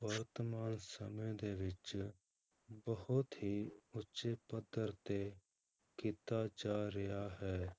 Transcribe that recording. ਵਰਤਮਾਨ ਸਮੇਂ ਦੇ ਵਿੱਚ ਬਹੁਤ ਹੀ ਉੱਚੇ ਪੱਧਰ ਤੇ ਕੀਤਾ ਜਾ ਰਿਹਾ ਹੈ।